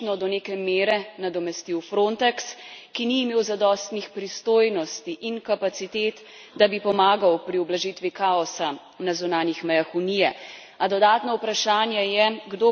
Nov evropski sistem bo očitno do neke mere nadomestil FRONTEX, ki ni imel zadostnih pristojnosti in kapacitet, da bi pomagal pri ublažitvi kaosa na zunanjih mejah Unije.